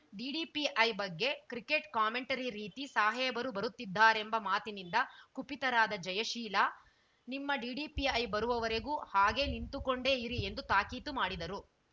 DDPI ಬಗ್ಗೆ cricket commentary ರೀತಿ ಸಾಹೇಬರು ಬರುತ್ತಿದ್ದಾರೆಂಬ ಮಾತಿನಿಂದ ಕುಪಿತರಾದ ಜಯಶೀಲ ನಿಮ್ಮ ಡಿಡಿಪಿಐ ಬರುವವರೆಗೂ ಹಾಗೇ ನಿಂತುಕೊಂಡೇ ಇರಿ ಎಂದು ತಾಕೀತು ಮಾಡಿದರು